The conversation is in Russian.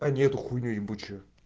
а не эту хуйню ебучую